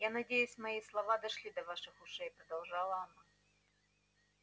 я надеюсь что мои слова дошли и до ваших ушей продолжала она